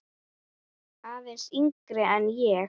Aðeins yngri en ég.